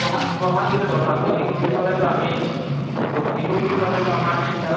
এই বহাগ, বহাগ বিহুতটোৰ কথা কৈছো। বিহু বুলি কলেটো আমি এতি, বহাগ বিহু বুলি কলেটো আমাৰ তিনটাৰো